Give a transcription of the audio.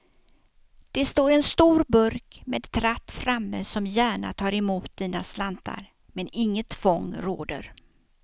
Det står en stor burk med tratt framme som gärna tar emot dina slantar, men inget tvång råder.